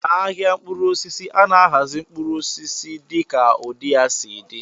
N'ahịa mkpụrụ osisi, a na-ahazi mkpụrụ osisi dịka ụdị ya si dị.